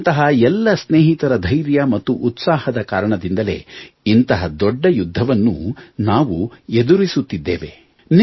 ನಿಮ್ಮಂತಹ ಎಲ್ಲ ಸ್ನೇಹಿತರ ಧೈರ್ಯ ಮತ್ತು ಉತ್ಸಾಹದ ಕಾರಣದಿಂದಲೇ ಇಂತಹ ದೊಡ್ಡ ಯುದ್ಧವನ್ನು ನಾವು ಎದುರಿಸುತ್ತಿದ್ದೇವೆ